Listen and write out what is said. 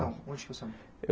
Não onde que você